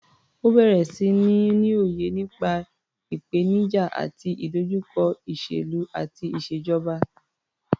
Ó bẹ̀rẹ̀ sí ní ní òye nípa ìpènijà àti ìdojúkọ ìṣèlú àti ìṣèjọba.